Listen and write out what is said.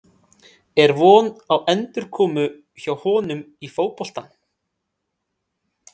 Er von á endurkomu hjá honum í fótboltann?